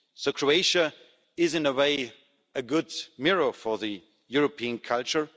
So Croatia is in a way a good mirror for the European culture.